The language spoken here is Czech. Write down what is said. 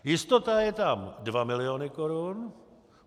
Jistota je tam 2 miliony korun.